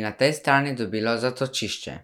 in na tej strani dobilo zatočišče.